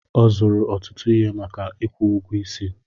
Ọ zụrụ ọtụtụ ihe maka ikwu ụgwọ isi.